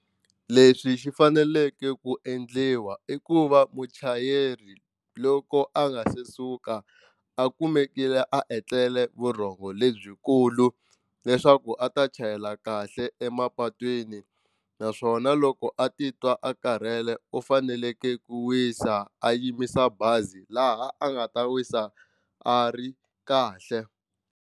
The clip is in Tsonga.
Leswi xi faneleke ku endliwa i ku va muchayeri loko a nga se suka a kumekile a etlele vurhongo lebyikulu leswaku a ta chayela kahle emapatwini naswona loko a titwa a karhele u fanekele ku wisa a yimisa bazi laha a nga ta wisa a ri kahle.